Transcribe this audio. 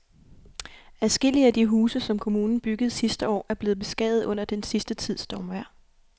Adskillige af de huse, som kommunen byggede sidste år, er blevet beskadiget under den sidste tids stormvejr.